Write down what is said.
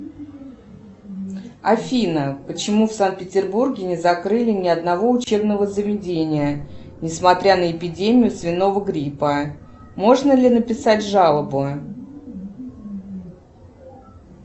афина почему в санкт петербурге не закрыли ни одного учебного заведения не смотря на эпидемию свиного гриппа можно ли написать жалобу